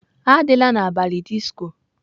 Adịla n'abalị disco!